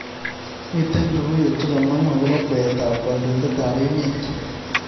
Miten logoywek chegamangu agoba kweetab kandoindetab emet